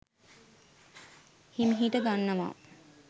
හිමිහිට ගන්නවා